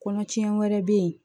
Kɔnɔ tiɲɛ wɛrɛ bɛ yen